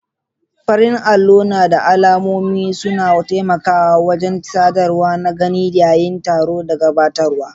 farin allo na da alamomi suna taimakawa wajen sadarwa na gani yayin taro da gabatarwa.